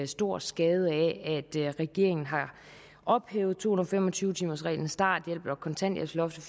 stor skade ved at regeringen har ophævet to hundrede og fem og tyve timersreglen starthjælpen og kontanthjælpsloftet